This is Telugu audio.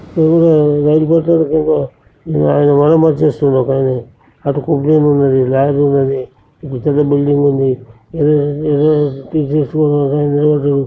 ఎదురుగా రైలు పట్టాల మీద ఒకాయన మరమ్మత్తులు చేస్తున్నారు ఒకాయనే. అటు ప్రొక్లయన్ వున్నాయి. లారీ వున్నది. పెద్ద పెద్ద బిల్డింగ్ ఉంది. ఏదో ఏదో తీసేసుకుంటూ ఒకాయన నిలబడ్డాడు.